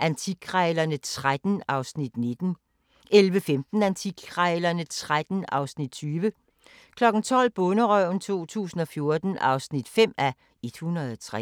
Antikkrejlerne XIII (Afs. 19) 11:15: Antikkrejlerne XIII (Afs. 20) 12:00: Bonderøven 2014 (5:103)